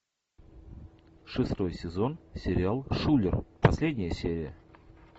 шестой сезон сериал шулер последняя серия